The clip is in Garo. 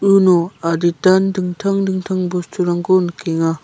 uno aditan dingtang dingtang bosturangko nikenga.